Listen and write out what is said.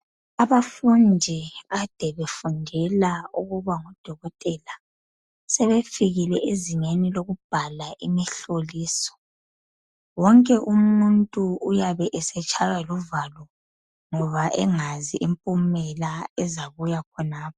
Abafundi kade befundela ukuba ngodokotela, sebefikile ezingeni okubhala umhloliso. Wonke umuntu owabe esetshayiwa luvalo ngoba engazi imphumela ezabuya khonapho.